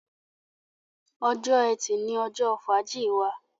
Ọjọ́ Ẹti ní ojó fàájì wá